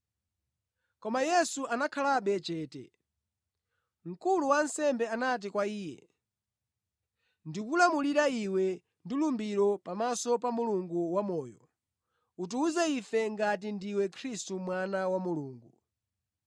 Koma Yesu anakhalabe chete. Mkulu wa ansembe anati kwa Iye, “Ndikulamulira Iwe ndi lumbiro pamaso pa Mulungu wa Moyo: utiwuze ife ngati ndiwe Khristu Mwana wa Mulungu.”